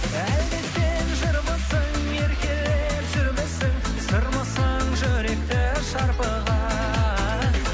әлде сен жырмысың еркелеп жүрмісің сырмысың жүректі шарпыған